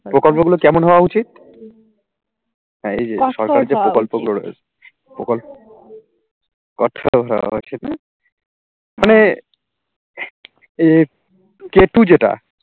প্রকল্প গুলো কেমন হওয়া উচিত? হ্যাঁ এই যে সরকারি যে প্রকল্পগুলো প্রকল্প মানে এই কে two যেটা